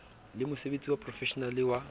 le mosebetsi wa profeshenale wa